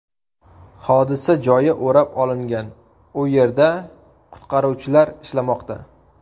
Hodisa joyi o‘rab olingan, u yerda qutqaruvchilar ishlamoqda.